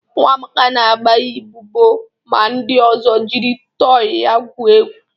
Nwa Amaka na agba ịbubu ma ndị ozo jiri tọị ya gwuo egwu